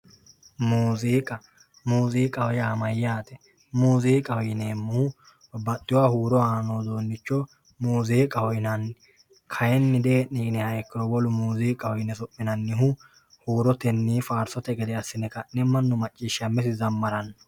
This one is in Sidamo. Muuziqa, muuziqaho yaa mayate muuziqaho yinemohu baxewoha huuro aano udunicho muuziqaho yinnanni, kayinni deeni yiniha ikkiro wole muuziqaho yine sominannihu huurotenni faarisotenni manu maccishamete zamarano